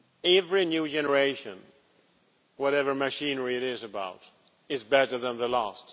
Every new generation, whatever machinery it is, is better than the last.